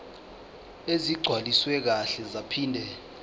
ezigcwaliswe kahle zaphinde